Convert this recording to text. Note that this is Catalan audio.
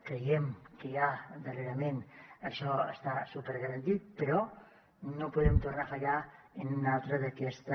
creiem que ja darrerament això està supergarantit però no podrem tornar a fallar en un altre d’aquesta